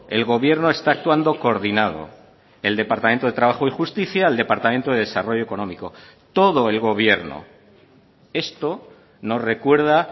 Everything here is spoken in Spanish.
el gobierno está actuando coordinado el departamento de trabajo y justicia el departamento de desarrollo económico todo el gobierno esto nos recuerda